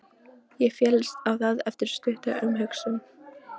Ég féllst á það eftir stutta umhugsun.